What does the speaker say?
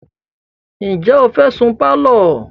Ǹjẹ́ o fẹ́ sun pálọ̀?